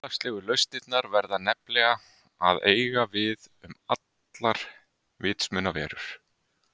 Félagslegu lausnirnar verða nefnilega að eiga við um allar vitsmunaverur.